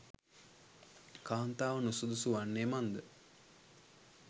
කාන්තාව නුසුදුසු වන්නේ මන් ද?